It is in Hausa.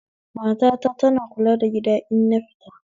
Mata ta tana kula da gida in nafita